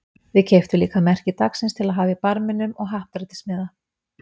Við keyptum líka merki dagsins til að hafa í barminum og happdrættismiða.